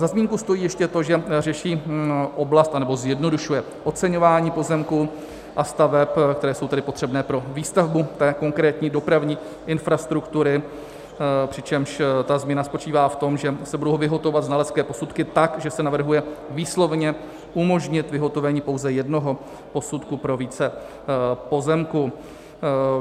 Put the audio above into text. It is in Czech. Za zmínku stojí ještě to, že řeší oblast, anebo zjednodušuje, oceňování pozemků a staveb, které jsou tedy potřebné pro výstavbu té konkrétní dopravní infrastruktury, přičemž ta změna spočítá v tom, že se budou vyhotovovat znalecké posudky tak, že se navrhuje výslovně umožnit vyhotovení pouze jednoho posudku pro více pozemků.